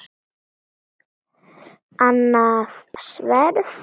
Annað sverð.